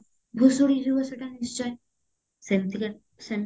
ଭୁସୁଡି ଯିବ ସେଟା ନିଶ୍ଚୟ ସେମତିକା ସେମତି